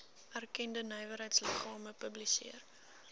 erkende nywerheidsliggame publiseer